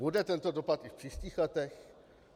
Bude tento dopad i v příštích letech?